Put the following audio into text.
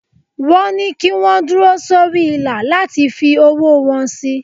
Wọ́n ní kí wọ́n dúró sórí ìlà láti fi owó wọn sí.